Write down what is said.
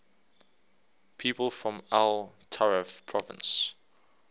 people from el taref province